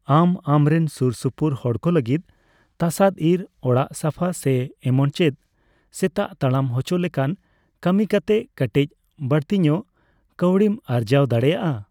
ᱟᱢ ᱟᱢᱨᱮᱱ ᱥᱩᱨ ᱥᱩᱯᱩᱨ ᱦᱚᱲᱠᱚ ᱞᱟᱹᱜᱤᱫ ᱛᱟᱥᱟᱫ ᱤᱨ, ᱚᱲᱟᱜ ᱥᱟᱯᱷᱟ ᱥᱮ ᱮᱢᱚᱱᱪᱮᱫ ᱥᱮᱛᱟ ᱛᱟᱲᱟᱢ ᱦᱚᱪᱚ ᱞᱮᱠᱟᱱ ᱠᱟᱹᱢᱤ ᱠᱟᱛᱮ ᱠᱟᱹᱴᱤᱪ ᱵᱟᱹᱲᱛᱤᱧᱚᱜ ᱠᱟᱹᱣᱰᱤᱢ ᱟᱨᱡᱟᱣ ᱫᱟᱲᱮᱭᱟᱜᱼᱟ ᱾